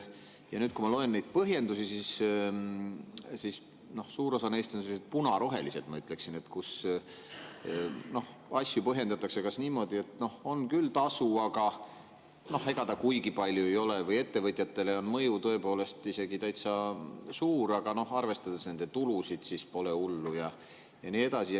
Ja nüüd, kui ma loen neid põhjendusi, siis suur osa neist on sellised punarohelised, ma ütleksin, kus asju põhjendatakse kas niimoodi, et on küll tasu, aga ega ta kuigi palju ei ole, või ettevõtjatele on mõju tõepoolest isegi täitsa suur, aga arvestades nende tulusid, siis pole hullu, ja nii edasi.